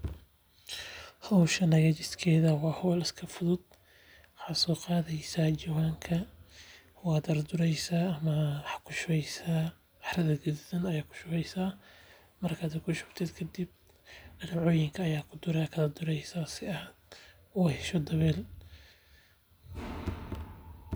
Howshan hagajiskeeda waay iska fududahay waxaa soo qaadi jawaan cara gaduud ayaa kushubeysa kadib waa dureysa.